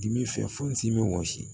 Dimi fɛ fo n s'i bɛ wɔsi